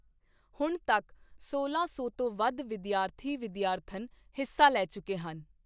ਹੁਣ ਤੱਕ ਸੋਲਾਂ ਸੌ ਤੋਂ ਵਧ ਵਿਦਿਆਰਥੀ ਵਿਦਿਆਰਥਨਾ ਹਿੱਸਾ ਲੈ ਚੁੱਕੇ ਹਨ।